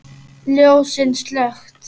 Ljósin slökkt.